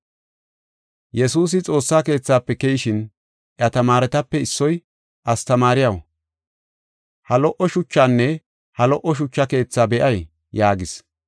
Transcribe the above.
Yesuusi Xoossa Keethafe keyishin, iya tamaaretape issoy, “Astamaariyaw, ha lo77o shuchaanne ha lo77o shucha keethaa be7ay!” yaagis.